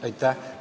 Aitäh!